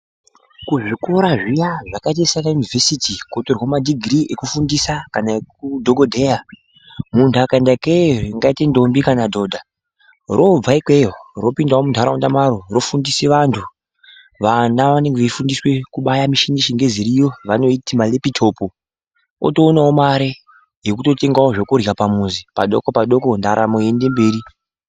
Kuzvikora zviya zvakaita sana Yunivhesiti kunotorwa madhigirii ekufundisa kana ekudhogodheya, muntu akaenda ikeyo ndingati ndombi kana dhodha, robva ikweyo ropinda muntaraunda maro rofundise vantu. Vana vanenge veifundiswe kubaye michini yechingezi iriyo vanoiti marepitopi, otoonawo mare yekutotenga zvekurya pamuzi, padoko padoko ndaramo yeiende mberi.